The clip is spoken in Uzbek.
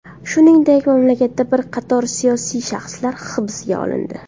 Shuningdek, mamlakatda bir qator siyosiy shaxslar hibsga olindi.